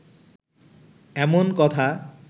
এমন কথা